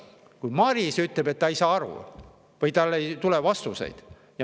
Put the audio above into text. Isegi Maris ütleb, et ta ei saa aru, tal ei ole vastuseid.